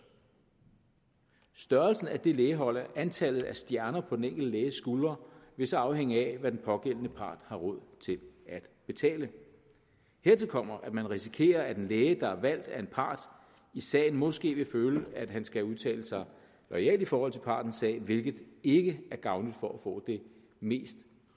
størrelsen af det lægehold og antallet af stjerner på den enkelte læges skuldre vil så afhænge af hvad den pågældende part har råd til at betale hertil kommer at man risikerer at en læge der er valgt af en part i sagen måske vil føle at han skal udtale sig loyalt i forhold til partens sag hvilket ikke er gavnligt for at få det mest